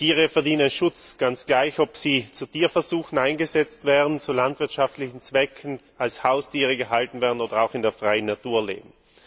Tiere verdienen Schutz, ganz gleich, ob sie zu Tierversuchen eingesetzt werden oder zu landwirtschaftlichen Zwecken, als Haustiere gehalten werden oder auch in der freien Natur leben.